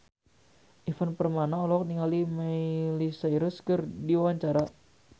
Ivan Permana olohok ningali Miley Cyrus keur diwawancara